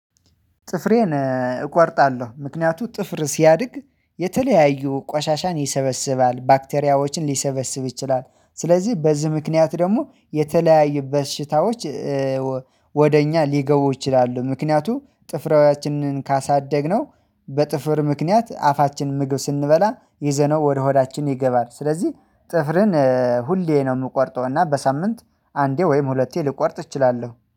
ጥፍሬን እቆርጣለሁ ምክንያቱም ጥፍር ሲያድግ የተለያዩ ቋሻሻን ይሰበስባል ባክቴሪያዎችን ሊሰበስብ ይችላል ስለዚህ በዚህ ምክንያት ደግሞ የተለያዩ በሽታዎች ወደ እኛ ሊገቡ ይችላሉ። ምክንያቱም ጥፍራውያችንን ካሳደግነው በጥፍር ምክንያት አፋችን ምግብ ስንበላ ይዘነው ወደ ሆዳችን ይገባል ስለዚህ ጥፍርን ሁሌ ነው የምቆርጠው። እና በሳምንት አንዴ ወይም ሁለቴ ልቆርጥ እችላለሁ